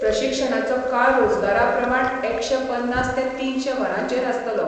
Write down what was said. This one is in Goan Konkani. प्रशिक्षणाचो काळ रोजगारा प्रमाण एकशे पन्नास ते तिनशे वरांचेर आसतलो.